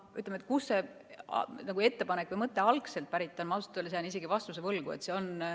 Sellele, kust see ettepanek või mõte algselt pärit on, jään ma ausalt öeldes vastuse võlgu.